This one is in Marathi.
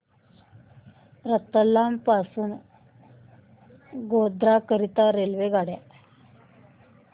रतलाम पासून गोध्रा करीता रेल्वेगाड्या